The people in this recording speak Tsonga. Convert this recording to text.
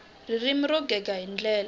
ririmi ro gega hi ndlela